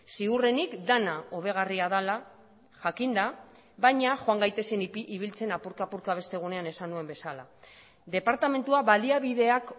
ziurrenik dena hobegarria dela jakinda baina joan gaitezen ibiltzen apurka apurka beste egunean esan nuen bezala departamentua baliabideak